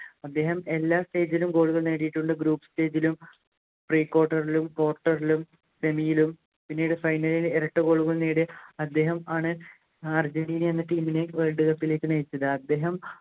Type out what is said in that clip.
അദ്ദേഹം എല്ലാ stage ലും Goal കൾ നേടിയിട്ടുണ്ട് Group stage ലും Pre quarter ലും quarter ലും Semi ലും പിന്നീട് Final ൽ ഇരട്ട Goal കൾ നേടിയ അദ്ദേഹമാണ് അർജൻറ്റീന എന്ന Team നെ Worldcup ലേക്ക് നയിച്ചത് അദ്ദേഹം